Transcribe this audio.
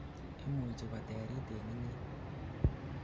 imuchi koterit en inyei